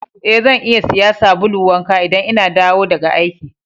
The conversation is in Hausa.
Eh, zan iya siya sabulu wanka idan n'na dawo daga aiki.